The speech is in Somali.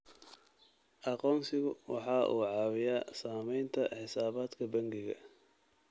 Aqoonsigu waxa uu caawiyaa samaynta xisaabaadka bangiga.